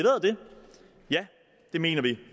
ja det mener vi